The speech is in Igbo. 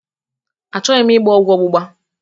Achọghị m ịgba ọgwụ ọgbụgba.